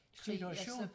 Situation?